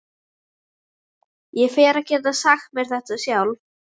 Ég fer að geta sagt mér þetta sjálf.